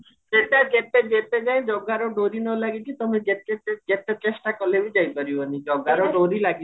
ଯେତେ ଯେତେ ଯତେ ଯାଏଁ ଜଗାର ଡୋରି ନଲାଗିଚି ତମେ ଯେତେ ଯେତେ ଚେଷ୍ଟା ଅକଲେ ବି ଯାଇପାରିବନି ଜଗାର ଡୋରି